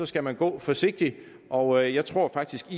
skal man gå forsigtigt og jeg tror faktisk